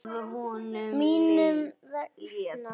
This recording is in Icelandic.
Mín vegna.